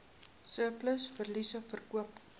surplus verliese verkoop